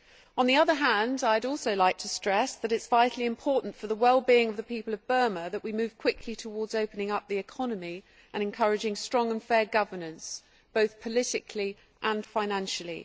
On the other hand, I would also like to stress that it is vitally important for the well being of the people of Burma that we move quickly towards opening up the economy and encouraging strong and fair governance, both politically and financially.